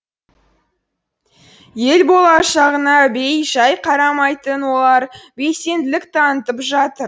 ел болашағына бей жай қарамайтын олар белсенділік танытып жатыр